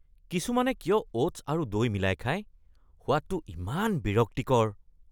কিছুমানে কিয় অ'টছ্ আৰু দৈ মিলাই খায়? সোৱাদটো যে ইমান বিৰক্তিকৰ।